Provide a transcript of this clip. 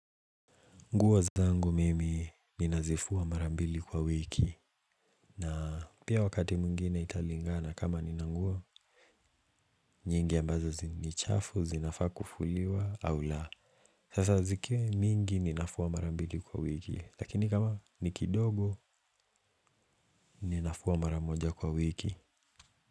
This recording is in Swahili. Nguo zangu mimi. Ninazifua, mara mbili kwa wiki. Na, pia wakati mwingine italingana kama nina nguo. Nyingi ambazo ni chafu zinafaa kufuliwa, au la. Sasa zikiwa mingi, ninafua mara mbili kwa wiki, lakini kama, ni kidogo. Ninafua mara moja kwa wiki.